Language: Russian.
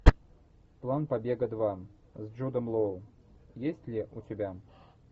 план побега два с джудом лоу есть ли у тебя